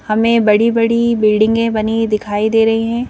हमें बड़ी बड़ी बिल्डिंगे बनी दिखाई दे रही है।